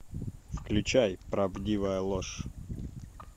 включай правдивая ложь